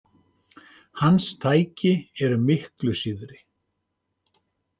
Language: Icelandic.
Hans tæki eru miklu síðri.